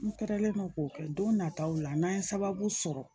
N kɛrɛlen do k'o kɛ don nataw la n'an ye sababu sɔrɔ